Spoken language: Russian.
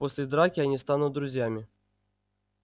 после драки они станут друзьями